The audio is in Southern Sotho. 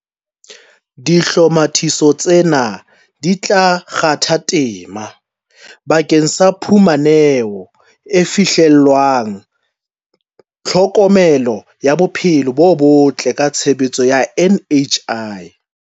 Dihlomathiso tsena di tla kgatha tema bakeng sa phu maneho e fihlellwang ya tlho komelo ya bophelo bo botle ka tshebediso ya NHI.